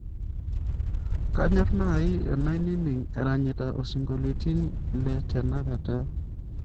kanyor nai enaining eranyata osingoiliotin le tenakata